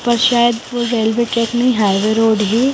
पर शायद वो रेलवे ट्रेक नहीं हाईवे रोड है।